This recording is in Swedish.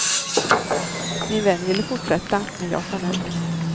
Min vän ville fortsätta, men jag sa nej.